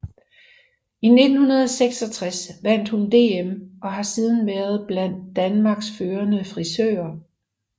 I 1966 vandt hun DM og har siden været blandt Danmarks førende frisører